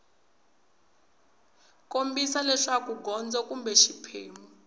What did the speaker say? kombisa leswaku gondzo kumbe xiphemu